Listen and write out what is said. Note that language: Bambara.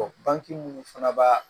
bange minnu fana b'a